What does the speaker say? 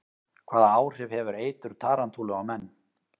Hvaða áhrif hefur eitur tarantúlu á menn?